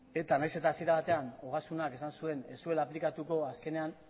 nahiz eta hasiera batean ogasunak esan zuen ez zuela aplikatuko azkenean